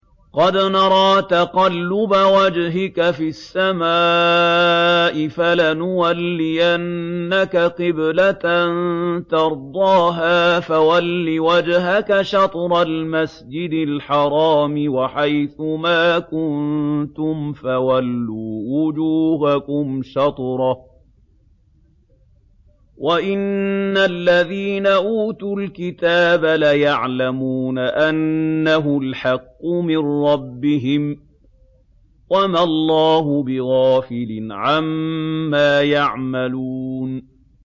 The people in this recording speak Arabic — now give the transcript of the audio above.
قَدْ نَرَىٰ تَقَلُّبَ وَجْهِكَ فِي السَّمَاءِ ۖ فَلَنُوَلِّيَنَّكَ قِبْلَةً تَرْضَاهَا ۚ فَوَلِّ وَجْهَكَ شَطْرَ الْمَسْجِدِ الْحَرَامِ ۚ وَحَيْثُ مَا كُنتُمْ فَوَلُّوا وُجُوهَكُمْ شَطْرَهُ ۗ وَإِنَّ الَّذِينَ أُوتُوا الْكِتَابَ لَيَعْلَمُونَ أَنَّهُ الْحَقُّ مِن رَّبِّهِمْ ۗ وَمَا اللَّهُ بِغَافِلٍ عَمَّا يَعْمَلُونَ